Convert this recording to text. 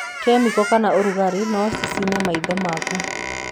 Kemiko kana ũrugarĩ no cicine maitho maku.